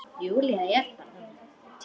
Júlía er þannig.